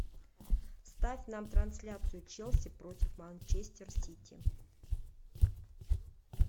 ставь нам трансляцию челси против манчестер сити